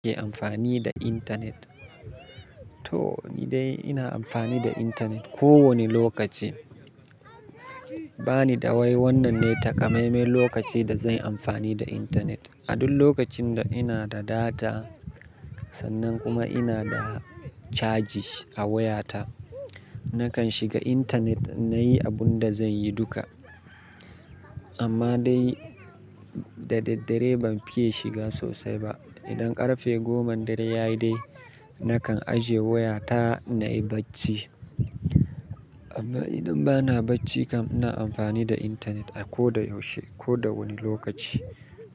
Kake amfani da internet? To ni dai ina amfani da internet ko wani lokaci. Ba ni da wai wannan ne takamaime lokaci da zan yi amfani da internet. A duk lokacin da ina da data sannan kuma ina da caji a wayata, nakan shiga internet na yi abun da zan yi duka. Amma dai da daddare ban fiye shiga sosai ba. Idan ƙarfe goma da raye dai nakan ajiye wayata na yi bacci. Amma idan bana bacci kam ina amfani da internet a ko da yaushe, ko da wani lokaci.